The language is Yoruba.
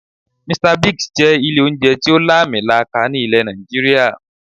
"Mr Bigs" jẹ́ ilé oúnjẹ tí ó làmì laaka ní ilẹ̀ Nàìjíríà